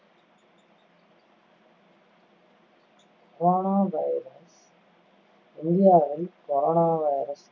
corona virus இந்தியாவை corona virus